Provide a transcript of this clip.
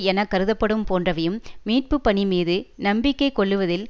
என கருதப்படும் போன்றவையும் மீட்பு பணிமீது நம்பிக்கை கொள்ளுவதில்